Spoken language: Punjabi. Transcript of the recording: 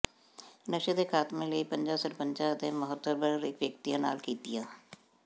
ਨਸ਼ੇ ਦੇ ਖਾਤਮੇ ਲਈ ਪੰਚਾਂ ਸਰਪਚੰਾਂ ਅਤੇ ਮੋਹਤਬਰ ਵਿਅਕਤੀਆਂ ਨਾਲ ਕੀਤੀਆਂ